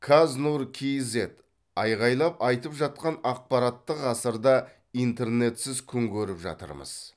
каз нур кз айқайлап айтып жатқан ақпараттық ғасырда интернетсіз күн көріп жатырмыз